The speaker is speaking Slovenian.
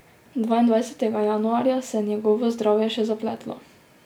Dvaindvajsetega januarja se je njegovo zdravje še zapletlo.